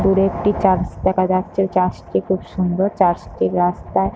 দূরে একটি চার্চ দেখা যাচ্ছে। চার্চ - টি খুব সুন্দর। চার্চ - টির রাস্তায় --